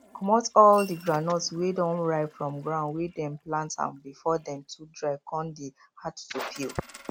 comot all the groundnuts wey don ripe from ground wey dem plant am before dem too dry con dey hard to peel